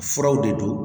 Furaw de do